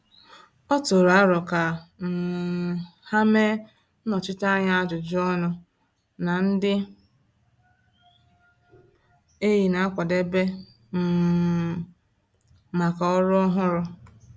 Ọ tụrụ aro ka um ha mee nnọchiteanya ajụjụ ọnụ na ndị enyi na-akwadebe um maka ọrụ ọhụrụ.